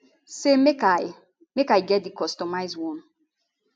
say make i make i get di customised one